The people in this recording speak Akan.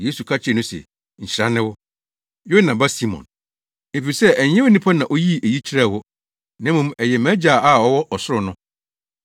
Yesu ka kyerɛɛ no se, “Nhyira ne wo, Yona ba Simon. Efisɛ ɛnyɛ onipa na oyii eyi kyerɛɛ wo, na mmom ɛyɛ mʼAgya a ɔwɔ ɔsoro no.